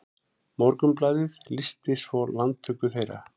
Morgunblaðið lýsti svo landtöku þeirra